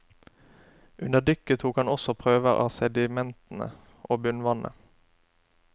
Under dykket tok han også prøver av sedimentene og bunnvannet.